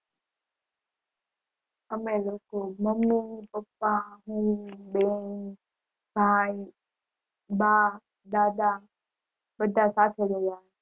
અમે લોકો mummy papa હું બેન ભાય બા દાદા બધા સાથે ગયા હતા